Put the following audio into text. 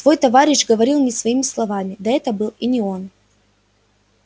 твой товарищ говорил не своими словами да это и был не он